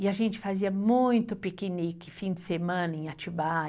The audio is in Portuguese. E a gente fazia muito piquenique, fim de semana, em Atibaia.